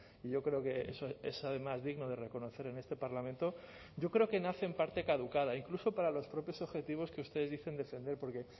y yo creo que es además digno de reconocer en este parlamento yo creo que nace en parte caducada incluso para los propios objetivos que ustedes dicen defender porque